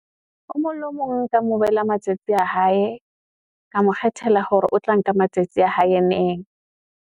O mong le o mong nka mo bela matsatsi a hae, ka mo kgethela hore o tla nka matsatsi a hae neng.